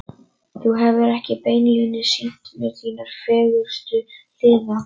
Þú hefur ekki beinlínis sýnt mér þínar fegurstu hliðar.